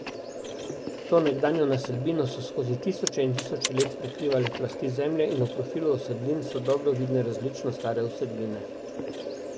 To nekdanjo naselbino so skozi tisoče in tisoče let prekrivale plasti zemlje in v profilu usedlin so dobro vidne različno stare usedline.